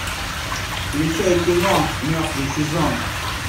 включай кино мертвый сезон